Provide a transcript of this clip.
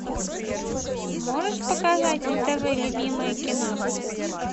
можешь показать на тв любимое кино